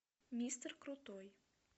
мистер крутой